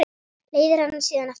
Leiðir hana síðan aftur heim.